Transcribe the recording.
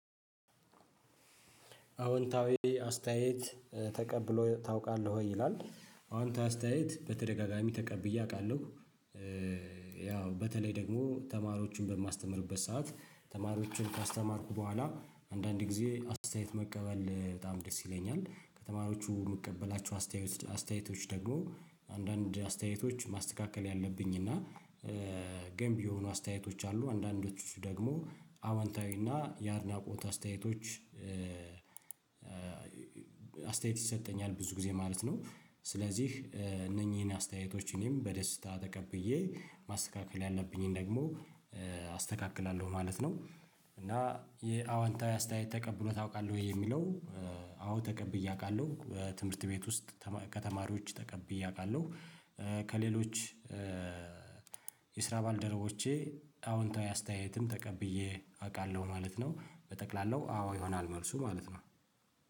አዎንታዊ አስተያየት ተቀብሎ ታውቃለህ ይላል አዎንታዊ አስተያየት በተደጋጋሚ ተቀብዬ አውቃለሁ። ያው በተለይ ደግሞ ተማሪዎችን በማስተምርበት ሰዓት ተማሪዎችን ካስተማርኩ በኋላ አንዳንድ ጊዜ አስተያየት መቀበል በጣም ደስ ይለኛል ከተማሪዎቹ የምቀበላቸው አስተያየት አስተያየቶች ደግሞ አንዳንድ አስተያየቶች ማስተካከል ያለብኝ እና ገንቢ የሆኑ አስተያየቶች አሉ አንዳንዶቹ ደግሞ አወንታዊ እና የአድናቆት አስተያየቶች። አስተያየት ይሰጠኛል ብዙ ጊዜ ማለት ነው። ስለዚህ እነኚህን አስተያየቶች እኔም በደስታ ተቀብዬ ማስተካከል ያለብኝን ደግሞ አስተካክላለሁ ማለት ነው። እና የአዎንታዊ አስተያየት ተቀብለህ ታውቃለህ የሚለው? አዎ ተቀብዬ አውቃለሁ ትምህርት ቤት ውስጥ ከተማሪዎች ተቀብዬ አውቃለሁ። ከሌሎች የስራ ባልደረቦቼ አዎንታዊ አስተያየትም ተቀብዬ አውቃለሁ ማለት ነው። በጠቅላላው አዎ ይሆናል መልሱ ማለት ነው።